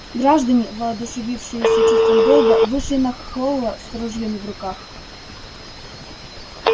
граждане воодушевившиеся чувством долга вышли на холла с ружьями в руках